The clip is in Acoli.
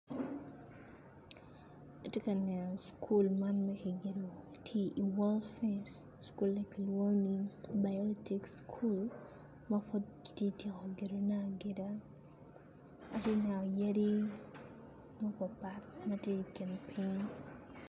Tye ka neno cukul man ma ki gedo tye i wall fenc ma kilwongo ni biotic cukul ki tye atyeko gedone atyeka atye ka neno yadi mapatpat matye i kin piny.